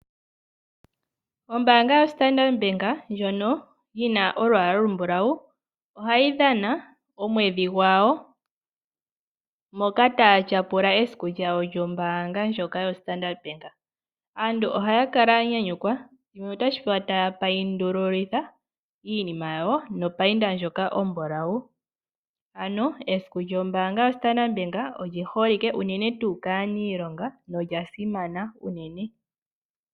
Ombaanga ya Standard ndjono yina olwaala olumbulawu ohayi dhana omwedhi gwawo moka taya tyapula esiku lyawo lyombaanga ndjoka yoStandard. Aantu ohaya kala ya nyanyukwa yo taya paindululitha iinima yawo nopayinda ndjoka ombulawu ,ano esiku lyombaanga yoStandard oliholike unene tuu kaaniilonga nolyasimana unene.